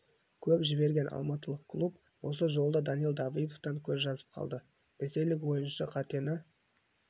көп жіберген алматылық клуб осы жолы да данил давыдовтан көз жасып қалды ресейлік ойыншы қатені